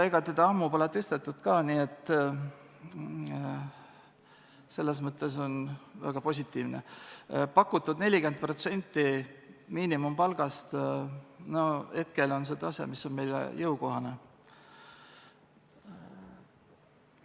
Ega teda ammu pole tõstetud ka, nii et selles mõttes on väga positiivne: pakutud 40% miinimumpalgast hetkel on see tase, mis on meile jõukohane.